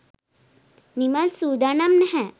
නිමල් සූදානම් නැහැ.